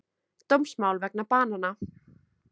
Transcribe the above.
Dómsmál vegna banana